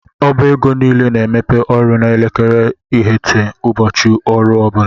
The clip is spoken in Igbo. Ọba égo niile na - emepe ọrụ na elekere iteghete ụbọchị ọrụ ọbula.